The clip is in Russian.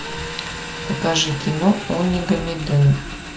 покажи кино онигамиден